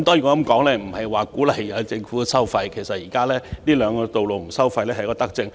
我無意鼓勵政府收費，而其實有關隧道不設收費亦是一項德政。